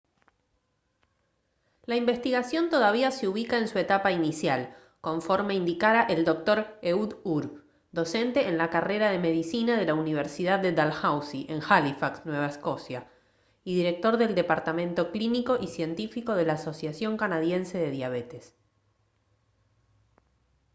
la investigación todavía se ubica en su etapa inicial conforme indicara el dr ehud ur docente en la carrera de medicina de la universidad de dalhousie en halifax nueva escocia y director del departamento clínico y científico de la asociación canadiense de diabetes